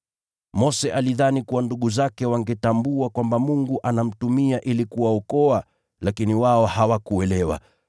Mose alidhani kuwa ndugu zake wangetambua kwamba Mungu anamtumia ili kuwaokoa, lakini wao hawakuelewa.